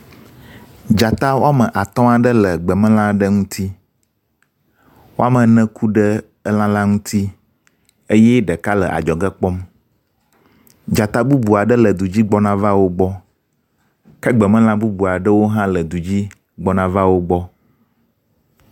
Dzata woame atɔ̃ aɖe le gbemelã aɖe ŋuti. Woame ene ku ɖe elã la ŋuti eye ɖeka le adzɔge kpɔm. Dzata bubu aɖe le du dzi gbɔna va wo gbɔ. Ke gbemelã bubu aɖe hã le du dzi gbɔna va wo gbɔ.